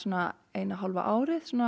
eina og hálfa árið